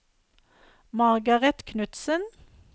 Margaret Knudsen